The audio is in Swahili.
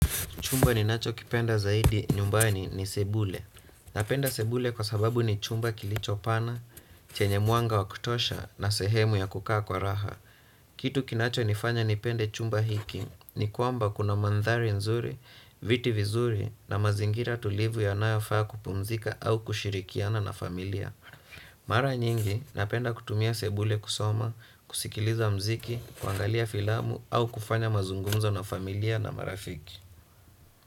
Chumba ninachokipenda zaidi nyumbani ni sebule. Napenda sebule kwa sababu ni chumba kilicho pana, chenye mwanga wa kutosha na sehemu ya kukaa kwa raha. Kitu kinachonifanya nipende chumba hiki ni kwamba kuna mandhari nzuri, viti vizuri na mazingira tulivu yanayofaa kupumzika au kushirikiana na familia. Mara nyingi napenda kutumia sebule kusoma, kusikiliza muziki, kuangalia filamu au kufanya mazungumzo na familia na marafiki.